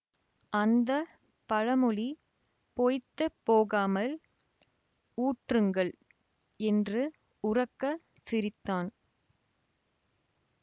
அந்த பழமொழி பொய்த்து போகாமல் ஊற்றுங்கள் என்று உரக்கச் சிரித்தான்